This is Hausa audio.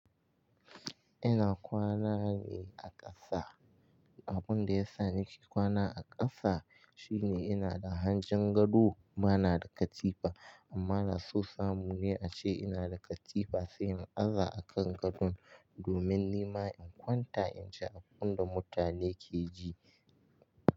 Ina kwana ne a ƙasa. Abin da ya sa nake kwana a ƙasa shine ina da hanjin gado bana da katifa amma na so samu ne ace ina da katifa sai in aza a kan gadon domin nima in kwanta in ji abin da mutane ke ji.